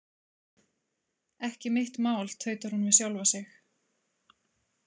Ekki mitt mál, tautar hún við sjálfa sig.